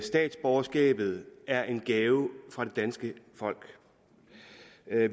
statsborgerskabet er en gave fra det danske folk